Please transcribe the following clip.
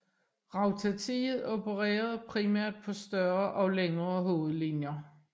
Rautatiet opererede primært på større og længere hovedlinjer